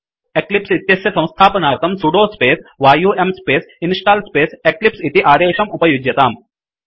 eclipse इत्यस्य संस्थापनार्थं sudo space yum space install space eclipse इति अदेशम् उपयुज्यताम्